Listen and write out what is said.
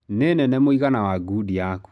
Nĩ nene mũigana wa gudi yaku.